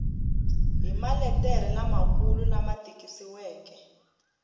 hi maletere lamakulu lama tikisiweke